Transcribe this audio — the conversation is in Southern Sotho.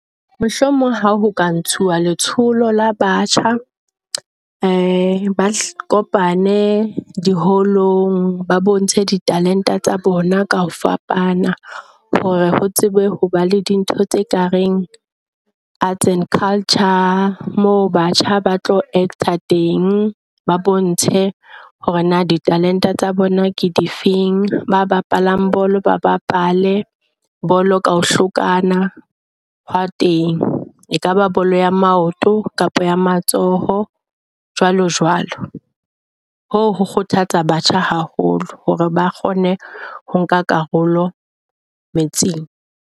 Mohlomong ha ho ka ntshuwa letsholo la batjha ba kopane diholong. Ba bontshe ditalente tsa bona ka ho fapana hore ho tsebe hoba le dintho tse kareng arts and culture. Moo batjha ba tlo act-a teng, ba bontshe hore na di-talent-e tsa bona ke di feng. Ba bapalang bolo ba bapale bolo ka hlokana hwa teng ekaba bolo ya maoto kapa ya matsoho jwalo jwalo. Hoo ho kgothatsa batjha haholo hore ba kgone ho nka karolo metseng.